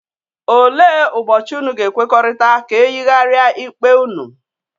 Ole ụbochi ụnụ ga-ekwekọrịta ka eyigaria ikpe unu?,